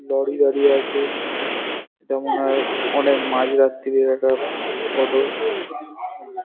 Lorry দাঁড়িয়ে আছে এটা মনে হয় অনেক মাঝ রাত্তিরের একটা ফটো ।